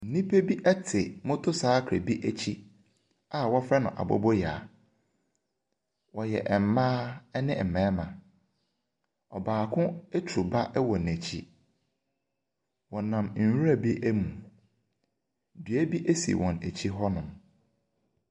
Nnipa bi te motorcycle bi akyi a wɔfrɛ no aboboyaa. Wɔyɛ mmaa ne mmarima. Ɔbaako turu ba wɔ n'akyi. Wɔnam nwuram mu. Dua bi si wɔn akyi hɔnom.